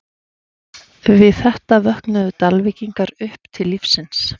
Við þetta vöknuðu Dalvíkingar upp til lífsins.